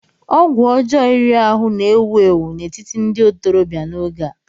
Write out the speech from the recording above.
ọgwụ ọjọọ iri ahụ́ na-ewu ewu n'etiti ndị ntorobịa n'oge a